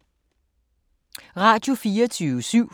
Radio24syv